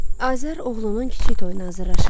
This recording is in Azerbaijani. Azər oğlunun kiçik toyuna hazırlaşırdı.